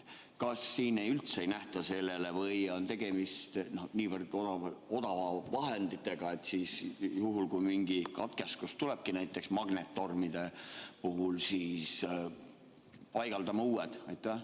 Kas siin üldse ei nähta või on tegemist niivõrd odavate vahenditega, et juhul kui mingi katkestus tulebki, näiteks magnettormide puhul, siis paigaldame uued?